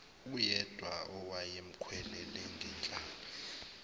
uyedwa owayemkhwelele ngenhlamba